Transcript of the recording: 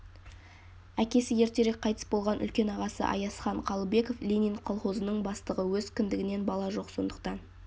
әкесі ертерек қайтыс болған үлкен ағасы аязхан қалыбеков ленин колхозының бастығы өз кіндігінен бала жоқ сондықтан